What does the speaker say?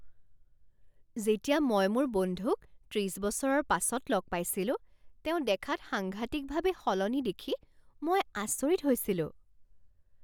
যেতিয়া মই মোৰ বন্ধুক ত্ৰিছ বছৰৰ পাছত লগ পাইছিলোঁ তেওঁ দেখাত সাংঘাতিকভাৱে সলনি দেখি মই আচৰিত হৈছিলোঁ।